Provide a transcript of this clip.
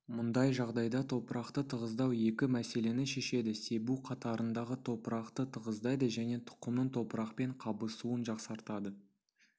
мұндай жағдайда топырақты тығыздау екі мәселені шешеді себу қатарындағы топырақты тығыздайды және тұқымның топырақпен қабысуын жақсартады